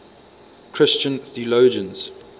christian theologians